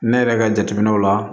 Ne yɛrɛ ka jateminɛw la